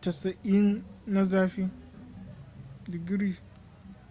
90 na zafi